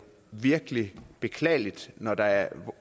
virkelig er beklageligt når der er